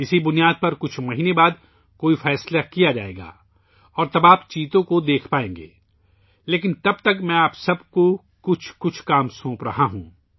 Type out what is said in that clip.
اس بنیاد پر کچھ مہینوں کے بعد فیصلہ کیا جائے گا اور پھر آپ چیتا دیکھ سکیں گے لیکن تب تک میں آپ سب کو کچھ کام سونپ رہا ہوں